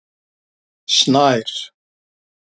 Snær